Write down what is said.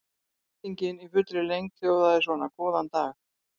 Spurningin í fullri lengd hljóðaði svona: Góðan dag.